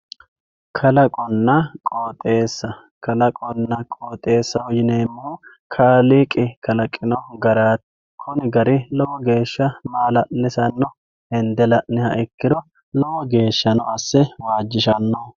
kalaqonna qooxeessa kalaqonna qooxeessaho yineemmohu kaaliiqi kalaqino garaati kuni gari lowo geeshsha maala'lisanno hende la'niha ikkiro lowo geeshshano asse waajjishannoho.